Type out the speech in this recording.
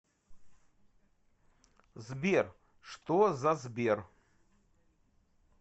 сбер что за сбер